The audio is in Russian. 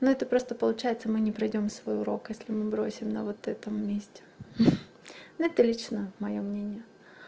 ну это просто получается мы не пройдём свой урок если мы бросим на вот этом месте но это лично моё мнение